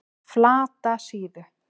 Flatasíðu